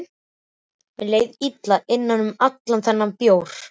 Mér leið illa innan um allan þennan bjór.